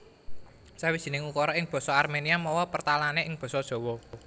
Sawijining ukara ing basa Arménia mawa pertalané ing basa Jawa